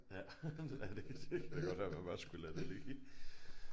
Ja ja det kan godt være man bare skulle lade det ligge